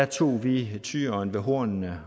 tog vi tyren ved hornene